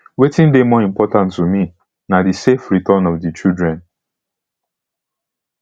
wetin dey more important to me na di safe return of di children